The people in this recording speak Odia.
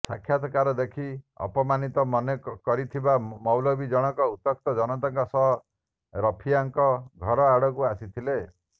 ସାକ୍ଷାତ୍କାର ଦେଖି ଅପମାନିତ ମନେ କରିଥିବା ମୌଲବି ଜଣକ ଉତ୍ତ୍ୟକ୍ତ ଜନତାଙ୍କ ସହ ରଫିଆଙ୍କ ଘର ଆଡ଼କୁ ଆସିଥିଲେ